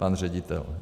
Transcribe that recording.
Pan ředitel.